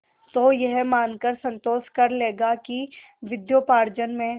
तो यह मानकर संतोष कर लेगा कि विद्योपार्जन में